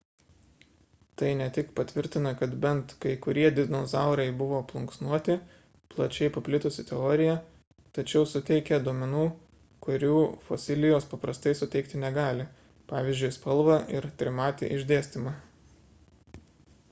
tai ne tik patvirtina kad bent kai kurie dinozaurai buvo plunksnuoti plačiai paplitusi teorija tačiau suteikia duomenų kurių fosilijos paprastai suteikti negali pvz. spalvą ir trimatį išdėstymą